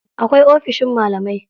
Akwai ofishin malamai.